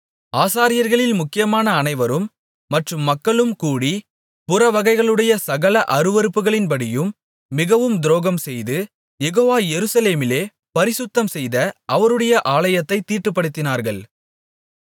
ஆசாரியர்களில் முக்கியமான அனைவரும் மற்றும் மக்களும் கூடி புறவகைகளுடைய சகல அருவருப்புகளின்படியும் மிகவும் துரோகம்செய்து யெகோவா எருசலேமிலே பரிசுத்தம்செய்த அவருடைய ஆலயத்தைத் தீட்டுப்படுத்தினார்கள்